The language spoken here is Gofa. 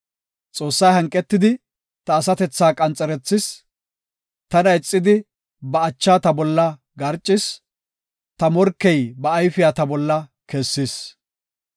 Xoossay hanqetidi ta asatethaa qanxerethis; tana ixidi ba acha ta bolla garcis; ta morkey ba ayfiya ta bolla kessis.